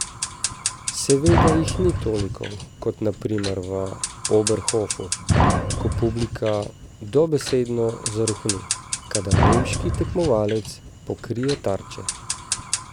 Seveda jih ni toliko kot na primer v Oberhofu, ko publika dobesedno zarohni, kadar nemški tekmovalec pokrije tarče.